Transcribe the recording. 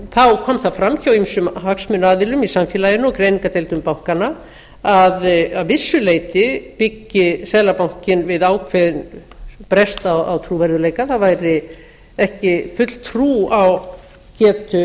þá kom það fram hjá ýmsum hagsmunaaðilum í samfélaginu og greiningardeildum bankanna að að vissu leyti byggi seðlabankinn við ákveðinn brest á trúverðugleika það væri ekki full trú á getu